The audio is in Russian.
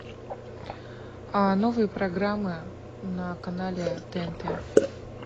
новые программы на канале тнт